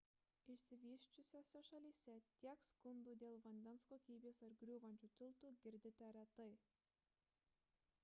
išsivysčiusiose šalyse tiek skundų dėl vandens kokybės ar griūvančių tiltų girdite retai